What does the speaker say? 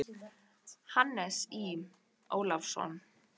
Hannes Í. Ólafsson.